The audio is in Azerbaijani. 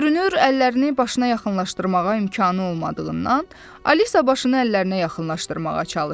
Görünür, əllərini başına yaxınlaşdırmağa imkanı olmadığından, Alisa başını əllərinə yaxınlaşdırmağa çalışdı.